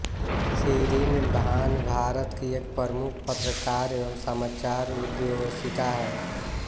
शीरीन भान भारत की एक प्रमुख पत्रकार एवं समाचार उद्धोषिका हैं